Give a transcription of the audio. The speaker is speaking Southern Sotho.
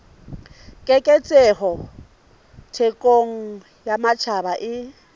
keketseho thekong ya matjhaba e